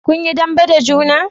kun yi dambe da juna?